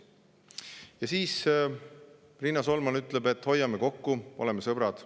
Ja Riina Solman ütles, et hoiame kokku, oleme sõbrad.